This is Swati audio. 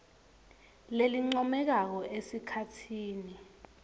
lelincomekako esikhatsini